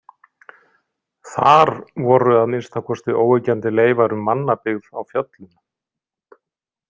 Þar voru að minnsta kosti óyggjandi leifar um mannabyggð á fjöllum.